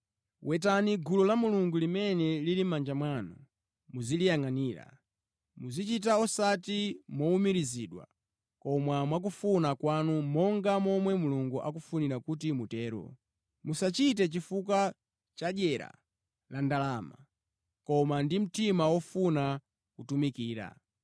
Wetani gulu la Mulungu limene lili mʼmanja mwanu, muziliyangʼanira. Muzichita osati mowumirizidwa, koma mwakufuna kwanu, monga momwe Mulungu akufunira kuti mutero. Musachite chifukwa chadyera la ndalama, koma ndi mtima ofuna kutumikira.